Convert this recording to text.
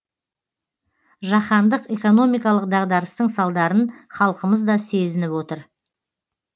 жаһандық экономикалық дағдарыстың салдарын халқымыз да сезініп отыр